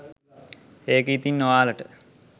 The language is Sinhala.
ඒක ඉතින් ඔයාලට